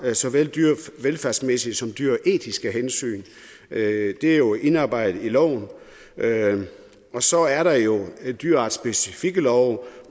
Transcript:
såvel dyrevelfærdsmæssige som dyreetiske hensyn det er jo indarbejdet i loven og så er der jo dyreartsspecifikke love